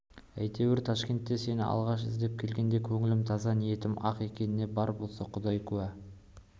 әйтеуір ташкентке сені алғаш іздеп келгенде көңілім таза ниетім ақ екеніне бар болса құдай куә